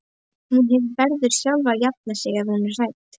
Hún verður sjálf að jafna sig ef hún er hrædd.